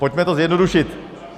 Pojďme to zjednodušit.